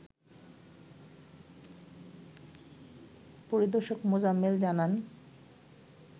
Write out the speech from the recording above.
পরিদর্শক মোজাম্মেল জানান